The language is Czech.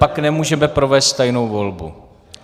Pak nemůžeme provést tajnou volbu.